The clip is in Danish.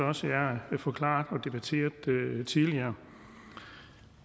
også er forklaret og debatteret tidligere